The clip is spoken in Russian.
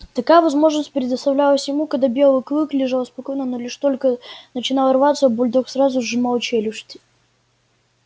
такая возможность предоставлялась ему когда белый клык лежал спокойно но лишь только начинал рваться бульдог сразу сжимал челюсти